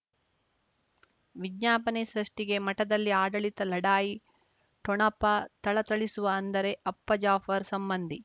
ವಿಜ್ಞಾಪನೆ ಸೃಷ್ಟಿಗೆ ಮಠದಲ್ಲಿ ಆಡಳಿತ ಲಢಾಯಿ ಠೊಣಪ ಥಳಥಳಿಸುವ ಅಂದರೆ ಅಪ್ಪ ಜಾಫರ್ ಸಂಬಂಧಿ